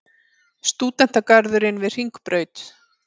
Stúdentagarðurinn við Hringbraut.